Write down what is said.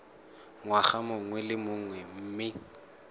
ngwaga mongwe le mongwe mme